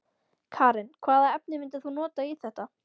Karen: Hvaða efni myndir þú nota í þetta?